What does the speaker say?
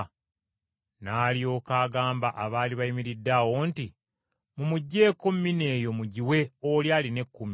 “N’alyoka agamba abaali bayimiridde awo nti, ‘Mumuggyeeko mina eyo mugiwe oli alina ekkumi.’